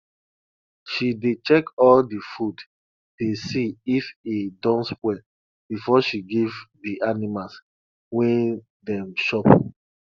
she dey check all di food dey see if e don spoil before she give di animals wey dem chop